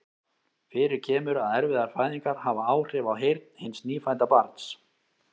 Fyrir kemur að erfiðar fæðingar hafa áhrif á heyrn hins nýfædda barns.